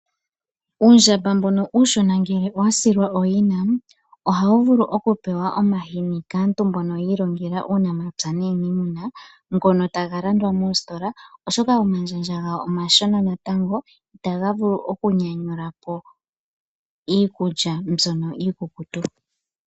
Uundjamba mbono uushona ngele owa silwa ooyina ohawu vulu oku pewa omahini kaantu mbono yiilongela uunamapya nuuniimuna ngono taga landwa moositola oshoka omandjandja gawo omashina natango i taga vulu oku nyanyula po iikulya mbyono iikukutu.